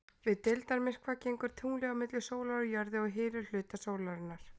Við deildarmyrkva gengur tunglið á milli sólar og jörðu og hylur hluta sólarinnar.